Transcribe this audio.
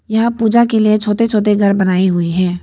यहां पूजा के लिए छोटे छोटे घर बनाई हुई है।